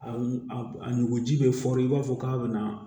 A a nugu ji bɛ fɔri i b'a fɔ k'a bɛna